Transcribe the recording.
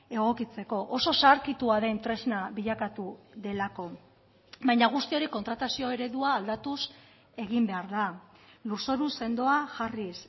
egokitzeko oso zaharkitua den tresna bilakatu delako baina guzti hori kontratazio eredua aldatuz egin behar da lurzoru sendoa jarriz